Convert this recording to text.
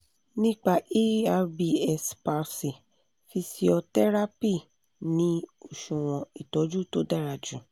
nípa erbs palsy fíṣíọ́tẹ́rápì ni oṣuwọn ìtọjú tó dára jù